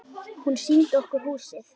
Hún sýndi okkur húsið.